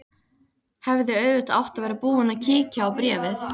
Hefði auðvitað átt að vera búin að kíkja á bréfið.